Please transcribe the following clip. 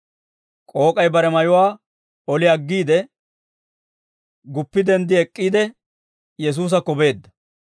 K'ook'ay bare mayuwaa oli aggiide, guppi denddi ek'k'iide, Yesuusakko beedda.